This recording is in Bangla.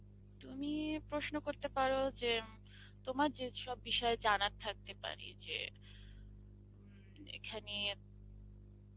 তুমি প্রশ্ন করতে পারো যে তোমার যেসব বিষয় জানার থাকতে পারে যে উম এখানে,